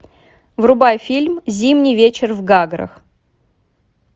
врубай фильм зимний вечер в гаграх